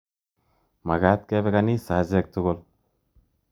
Makat kepe kaisa achek tukul